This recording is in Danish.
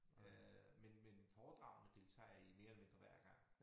Øh men men foredragene deltager jeg i mere eller mindre hver gang